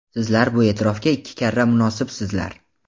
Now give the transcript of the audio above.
Sizlar bu e’tirofga ikki karra munosibsizlar.